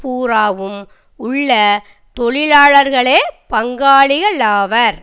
பூராவும் உள்ள தொழிலாளர்களே பங்காளிகளாவர்